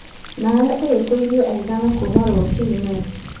Nawe ũhĩtĩirie aigana kuuma rũcinĩ?